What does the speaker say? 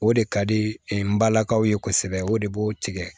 O de ka di n balakaw ye kosɛbɛ o de b'o tigɛ